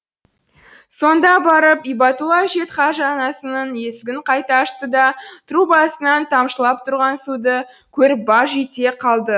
сонда барып ибатулла әжетхажанасының есігін қайта ашты да трубасынан тамшылап тұрған суды көріп баж ете қалды